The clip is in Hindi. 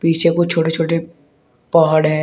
पीछे कुछ छोटे छोटे पहाड़ हैं।